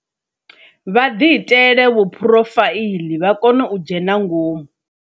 Vha ḓiitele vhu phurofaiḽii vha kone u dzhena ngomu.